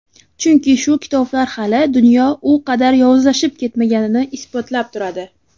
Chunki shu kitoblar hali dunyo u qadar yovuzlashib ketmaganini isbotlab turadi.